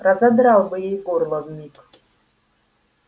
разодрал бы ей горло вмиг